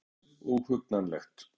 Það var mjög óhugnanlegt